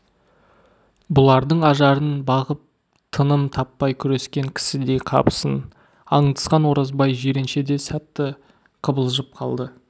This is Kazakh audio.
бұлардың ажарын бағып тыным таппай күрескен кісідей қапысын аңдысқан оразбай жиренше де сәтте қыбылжып қалды